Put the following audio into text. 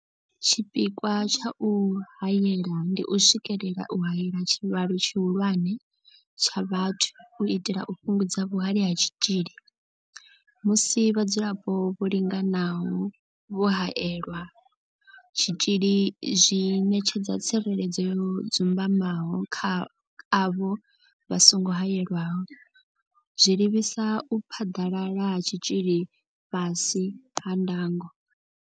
Tshipikwa tsha u haela ndi u swikelela u haela tshivhalo tshihulwane tsha vhathu u itela u fhungudza vhuhali ha tshitzhili musi vhadzulapo vho linganaho vho haelelwa tshitzhili zwi ṋetshedza tsireledzo yo dzumbamaho kha avho vha songo haelwaho, zwa livhisa u phaḓalala ha tshitzhili fhasi ha ndango.